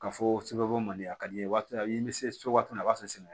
Ka fɔ sɛbɛn ko man di a ka di n ye waati min na a y'i bɛ se waati min na a b'a sɔrɔ sɛnɛ